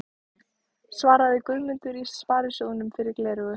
svaraði Guðmundur í Sparisjóðnum yfir gleraugun.